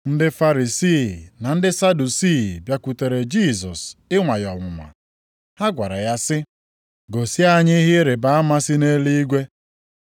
Ndị Farisii na ndị Sadusii bịakwutere Jisọs ịnwa ya ọnwụnwa. Ha gwara ya sị, “Gosi anyị ihe ịrịbama si nʼeluigwe.”